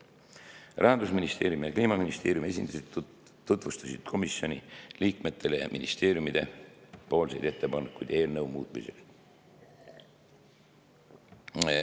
Rahandusministeeriumi ja Kliimaministeeriumi esindajad tutvustasid komisjoni liikmetele ministeeriumide ettepanekuid eelnõu muutmiseks.